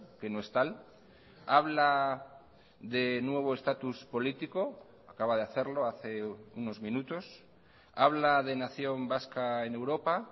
que no es tal habla de nuevo estatus político acaba de hacerlo hace unos minutos habla de nación vasca en europa